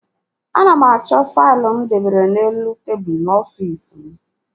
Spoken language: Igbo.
Ana m achọ faịlụ m debere n'elu tebulu dị n'ọfiisi m.